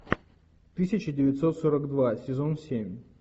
тысяча девятьсот сорок два сезон семь